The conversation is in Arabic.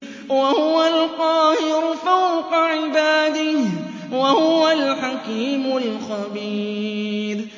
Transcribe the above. وَهُوَ الْقَاهِرُ فَوْقَ عِبَادِهِ ۚ وَهُوَ الْحَكِيمُ الْخَبِيرُ